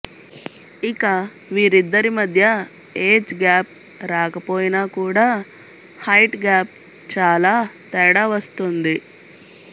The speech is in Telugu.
ఇక వీరిద్దరి మధ్య ఏజ్ గ్యాప్ రాకపోయినా కూడా హైట్ గ్యాప్ చాలా తేడా వస్తుంది